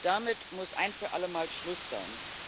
Damit muss ein für alle Mal Schluss sein!